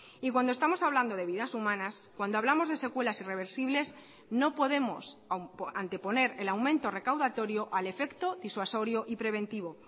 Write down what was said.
y cuando estamos hablando de vidas humanas cuando hablamos de secuelas irreversibles no podemos anteponer el aumento recaudatorio al efecto disuasorio y preventivo